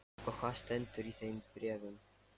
Og hvað stendur í þeim bréfum?